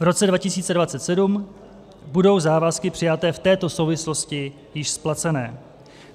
V roce 2027 budou závazky přijaté v této souvislosti již splacené.